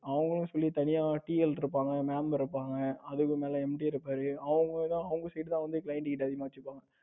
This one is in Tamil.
அவங்களுக்குன்னு சொல்லி தனியா TL இருப்பாங்க Mam இருப்பாங்க. அதுக்கு மேல MD இருப்பாரு அவங்க தான் அவங்க side தான் வந்து client கிட்ட அதிகமா வச்சுப்பாங்க.